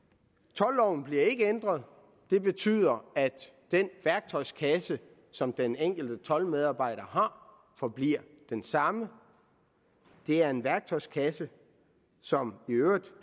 toldloven bliver ikke ændret det betyder at den værktøjskasse som den enkelte toldmedarbejder har forbliver den samme det er en værktøjskasse som i øvrigt